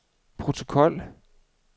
protokol